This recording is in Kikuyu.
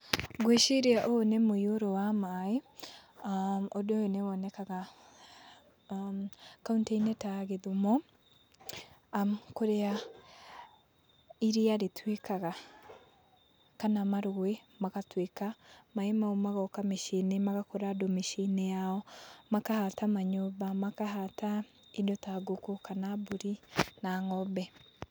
Ngwĩciria ũyũ nĩ mũiyũro wa maĩ, ũndũ ũyũ nĩ wonekaga kauntĩ-inĩ ta ya Gĩthumo kũrĩa iria rĩtuĩkaga kana marũĩ magatwĩka, maĩ mau magoka mĩciĩ-inĩ magakora andũ mĩciĩ-inĩ yao, makahata manyũmba, makahata indo ta ngũkũ, kana mbũri na ng'ombe.